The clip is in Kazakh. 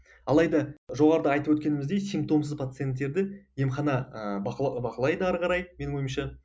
алайда жоғарыда айтып өткеніміздей симптомсыз пациенттерді емхана ы бақылайды ары қарай менің ойымша